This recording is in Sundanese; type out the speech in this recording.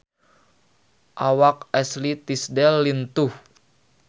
Awak Ashley Tisdale lintuh